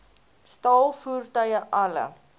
staal voertuie alle